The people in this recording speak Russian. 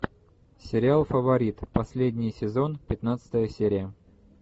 сериал фаворит последний сезон пятнадцатая серия